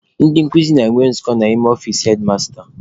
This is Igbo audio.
Ndị nkuzi na-enwe nzukọ n'ime ọfici hedmasta.